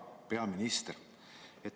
Hea peaminister!